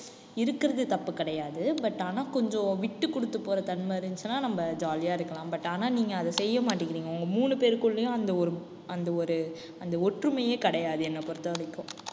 இருக்கிறது தப்பு கிடையாது. but ஆனா கொஞ்சம் விட்டுக் கொடுத்து போற தன்மை இருந்துச்சுன்னா நம்ம jolly ஆ இருக்கலாம். but ஆனா நீங்க அதை செய்ய மாட்டேங்கிறீங்க. உங்க மூணு பேருக்குள்ளேயும் அந்த ஒரு அந்த ஒரு அந்த ஒற்றுமையே கிடையாது என்னை பொறுத்தவரைக்கும்